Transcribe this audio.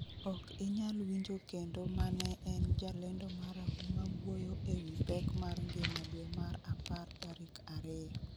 ok inyal winjo kendo mane en jalendo marahuma wuoyo e wi pek mar ngima dwe mar apar tarik ariyo